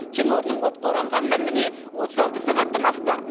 кенорнының отқа оранғанына міне отыз алты сағаттан асты